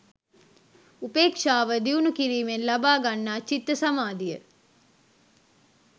උපේක්ෂාව දියුණු කිරීමෙන් ලබා ගන්නා චිත්ත සමාධිය